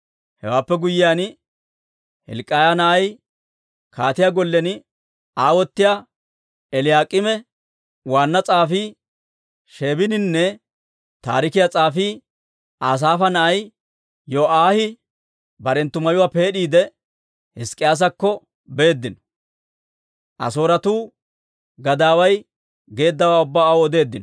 Hewaappe guyyiyaan, Hilk'k'iyaa na'ay kaatiyaa gollen aawotiyaa Eliyaak'iime, waanna s'aafii Sheebininne taarikiyaa s'aafii Asaafa na'ay Yo'aahi barenttu mayuwaa peed'iide, Hizk'k'iyaasakko beeddino; Asooretuu gadaaway geeddawaa ubbaa aw odeeddino.